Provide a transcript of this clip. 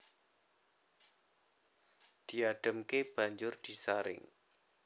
Diadhemke banjur disaring